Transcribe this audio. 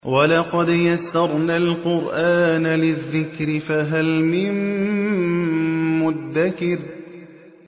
وَلَقَدْ يَسَّرْنَا الْقُرْآنَ لِلذِّكْرِ فَهَلْ مِن مُّدَّكِرٍ